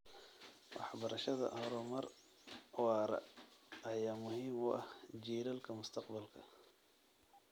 Waxbarashada horumar waara ayaa muhiim u ah jiilalka mustaqbalka.